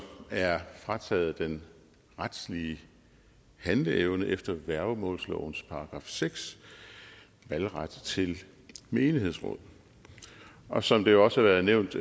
er frataget den retslige handleevne efter værgemålslovens § seks valgret til menighedsråd og som det jo også har været nævnt